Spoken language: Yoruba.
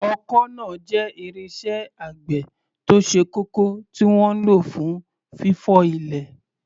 Ọkọ́ náà jẹ́ irinṣẹ́ àgbẹ̀ tó ṣe kókó tí wọ́n ń lò fún fífọ́ ilẹ̀.